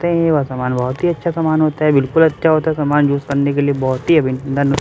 ते है वह समान बहुत ही अच्छा समान होते है बिल्कुल अच्छा होता है समान यूज़ करने लिए बहुत ही --